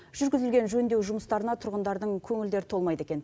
жүргізілген жөндеу жұмыстарына тұрғындардың көңілдері толмайды екен